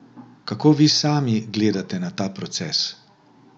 Kako vi sami gledate na ta proces?